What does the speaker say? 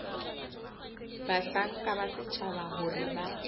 bahlanka ba setjhaba hore ba